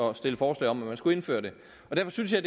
at stille forslag om at man skulle indføre det derfor synes jeg